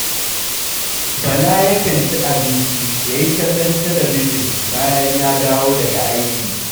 Bala yakan ci abinci ya yi kallon talabijin bayan ya dawo daga aiki